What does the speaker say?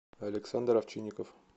александр овчинников